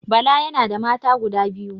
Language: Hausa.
Bala yana da mata guda biyu